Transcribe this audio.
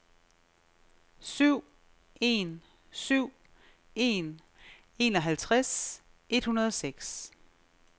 syv en syv en enoghalvtreds et hundrede og seks